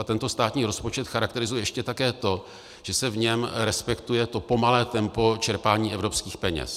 A tento státní rozpočet charakterizuje ještě také to, že se v něm respektuje to pomalé tempo čerpání evropských peněz.